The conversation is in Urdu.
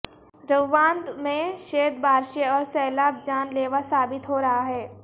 روواندا میں شید بارشیں اور سیلاب جان لیوا ثابت ہو رہا ہے